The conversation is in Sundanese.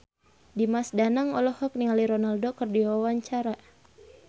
Dimas Danang olohok ningali Ronaldo keur diwawancara